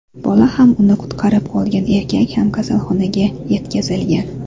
Bola ham uni qutqarib qolgan erkak ham, kasalxonaga yetkazilgan.